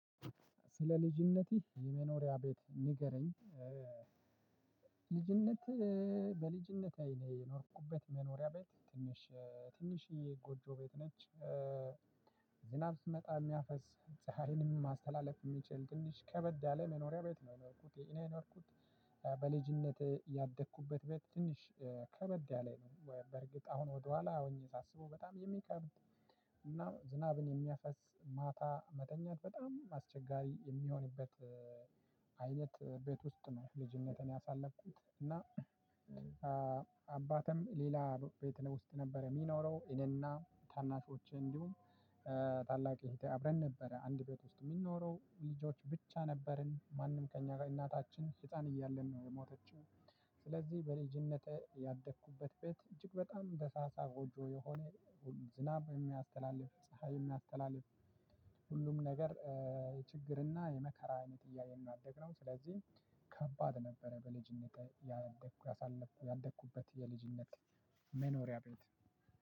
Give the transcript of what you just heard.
ስለ ልጅነቴ የመኖሪያ ቤት ንገረኝ? ልጅነት በልጅነቴ የኖርኩበት መኖሪያ ቤት ትንሽ ትንሽ ጎጆ ቤት ነች። ዝናብ ሲመጣ እሚያፈስ ፀሀይንም ማስተላለፍ እሚችል ትንሽ ከበድ ያለ መኖሪያ ቤት ነው የኖርኩት እኔ የኖርኩት። በልጅነት ያደግኩበት ቤት ትንሽ ከበድ ያለ ነው ወይ በርግጥ አሁን ወደኋላ ሆኜ ሳስበው በጣም የሚከብድ። እና ዝናብን የሚያፈስ ማታ መተኛት በጣም አስቸጋሪ የሚሆንበት አይነት ቤት ውስጥ ነው ልጅነቴን ያሳለፍኩት እና። ሌላ ቤት ውስጥ ነበረ እሚኖረው እኔና ታናሾቼ እንዲሁም ታላቅ እህቴ አብረን ነበረ አንድ ቤት ውስጥ እምንኖረው ልጆች ብቻ ነበርን ማንም ከእኛ ጋ እናታችን ህፃን እያለን ነው የሞተችው። ስለዚህ በልጅነቴ ያደግኩበት ቤት እጅግ በጣም ደሳሳ ጎጆ የሆነ። ዝናብ እሚያስተላልፍ ፀሀይ እሚያስተላልፍ ሁሉም ነገር የችግርና የመከራ አይነት እያየን ነው ያደግነው። ስለዚህ ከባድ ነበረ። በልጅነቴ ያደግኩ ያሳለፍኩ ያደግኩበት የልጅነት መኖሪያ ቤት